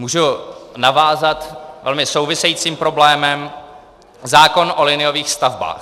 Můžu navázat velmi souvisejícím problémem: zákon o liniových stavbách.